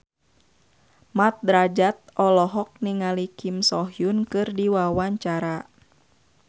Mat Drajat olohok ningali Kim So Hyun keur diwawancara